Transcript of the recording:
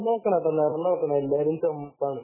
നിറം നോക്കണം നിറം നോക്കണം എല്ലാരും ചുകപ്പാണ്